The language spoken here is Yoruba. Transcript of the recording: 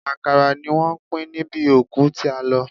Àkàrà ni wọ́n pín níbi òkú tí a lọ.